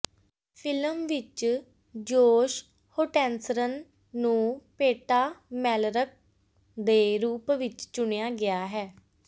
film ਵਿੱਚ Josh Hutcherson ਨੂੰ Peeta Mellark ਦੇ ਰੂਪ ਵਿੱਚ ਚੁਣਿਆ ਗਿਆ ਹੈ